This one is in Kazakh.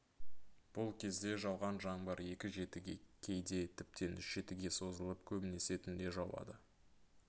бұл кезде жауған жаңбыр екі жетіге кейде тіптен үш жетіге созылып көбінесе түнде жауады